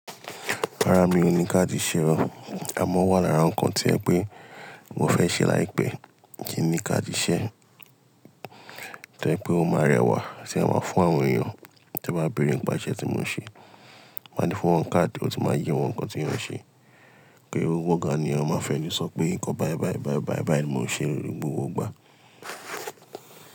Rárá mi ò ní káàdì iṣẹ́ o. Àmọ́ o wà lára ǹkan to jẹ pé mo fẹ́ ṣe láìpẹ́ kí n ní káàdì iṣẹ́ tó ẹ pé ó máa rẹwà tí máa ma fún àwọn èèyàn tí wọ́n bá béèrè nipá ìṣe tí mo n ṣe. Mo máa n fún wọn káàdì ó sì máa yí wọn ǹkan tí èèyàn n ṣe. Ki n se gbogbo nkan ni eeyan máa fẹ́nu sọ pé nǹkan báyìí báyìí báyìí báyìí báyìí ni mo n ṣe ni gbogbo ìgbà.